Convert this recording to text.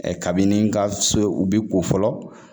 kabini nga so u bi ko fɔlɔ